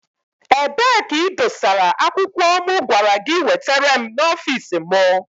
Ebee ka i dosara akwụkwọ mụ gwara gị wetere m n'ọfici mụ?